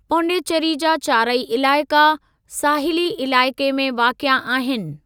पांडीचेरी जा चारई इलाइक़ा साहिली इलाइक़े में वाक़िए आहिनि।